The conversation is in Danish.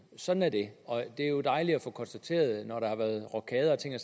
sådan er det og det er jo dejligt at få konstateret at at når der har været rokader og ting og